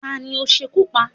Ta ní o sekú pá?